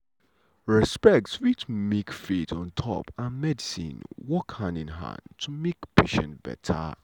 respect fit make faith um and medicine work hand in hand to make patient beta.